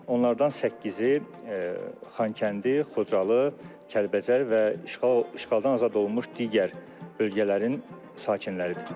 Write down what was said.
Onlardan səkkizi Xankəndi, Xocalı, Kəlbəcər və işğaldan azad olunmuş digər bölgələrin sakinləridir.